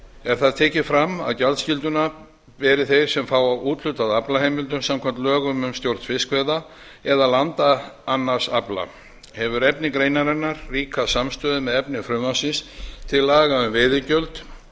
er þar tekið fram að gjaldskylduna beri þeir sem fá úthlutað aflaheimildum samkvæmt lögum um stjórn fiskveiða eða landa annars afla hefur efni greinarinnar víkkað samstöðu með efni frumvarpsins til laga um veiðigjöld